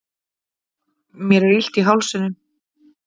mér er illt í hálsinum